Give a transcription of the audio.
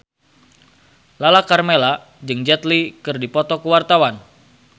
Lala Karmela jeung Jet Li keur dipoto ku wartawan